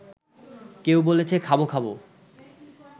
কেউ বলেছে খাবো খাবো